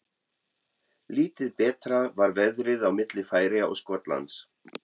Lítið betra var veðrið á milli Færeyja og Skotlands.